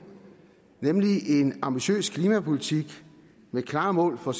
nemlig en ambitiøs klimapolitik med klare mål for